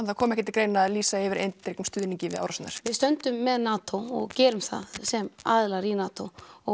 það kom ekki til greina að lýsa yfir eindregnum stuðningi við árásirnar við stöndum með NATO og gerum það sem aðilar í NATO og